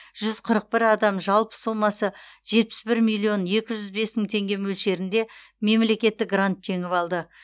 жүз қырық бір адам жалпы сомасы жетпіс бір миллион екі жүз бес мың теңге мөлшерінде мемлекеттік грант жеңіп алды